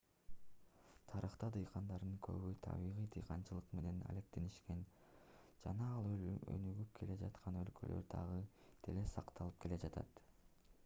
тарыхта дыйкандардын көбү табигый дыйканчылык менен алектенишкен жана ал өнүгүп келе жаткан өлкөлөрдө дагы деле сакталып келе жатат